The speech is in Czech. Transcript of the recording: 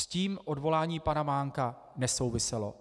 S tím odvolání pana Mánka nesouviselo.